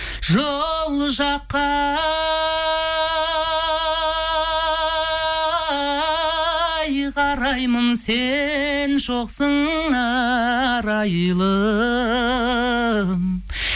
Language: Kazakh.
жол жаққа қараймын сен жоқсың арайлым